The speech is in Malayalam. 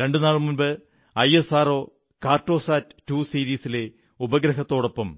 രണ്ടുനാൾ മുമ്പ് ഐഎസ്ആർഓ കാർട്ടോസാറ്റ് 2 സീരീസിലെ ഉപഗ്രഹത്തോടൊപ്പം